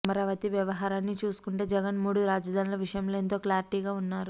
అమరావతి వ్యవహారాన్ని చూసుకుంటే జగన్ మూడు రాజధానుల విషయంలో ఎంతో క్లారిటీగా ఉన్నారు